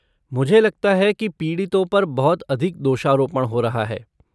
मुझे लगता है कि पीड़ितों पर बहुत अधिक दोषारोपण हो रहा है।